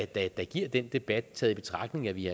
der giver den debat taget i betragtning at vi